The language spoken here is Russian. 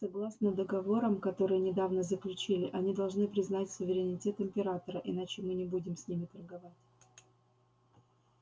согласно договорам которые недавно заключили они должны признать суверенитет императора иначе мы не будем с ними торговать